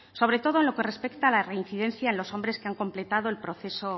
sobre todo en lo que respecta a la reincidencia en los hombres que han completado